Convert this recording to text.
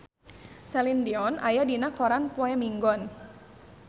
Celine Dion aya dina koran poe Minggon